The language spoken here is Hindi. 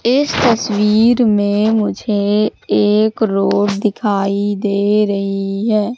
इस तस्वीर में मुझे एक रोड दिखाई दे रही है।